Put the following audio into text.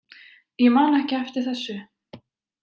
Ég man ekki eftir þessu.